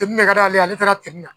de ka d'a ale ye, ale taara na.